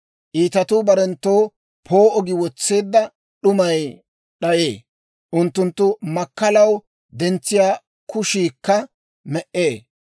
Iitatuu barenttoo poo'o gi wotseedda d'umay d'ayee; unttunttu makkalaw dentsiyaa kushiikka me"ee.